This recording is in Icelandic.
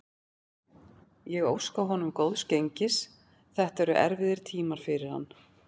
Ég óska honum góðs gengis, þetta eru erfiðir tímar fyrir hann.